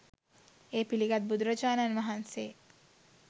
එය පිළිගත් බුදුරජාණන් වහන්සේ